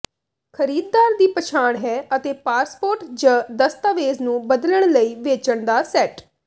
ਖਰੀਦਦਾਰ ਦੀ ਪਛਾਣ ਹੈ ਅਤੇ ਪਾਸਪੋਰਟ ਜ ਦਸਤਾਵੇਜ਼ ਨੂੰ ਬਦਲਣ ਲਈ ਵੇਚਣ ਦਾ ਸੈੱਟ